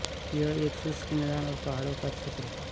यह एक शुष्क मैदानों और पहाड़ों का क्षेत्र है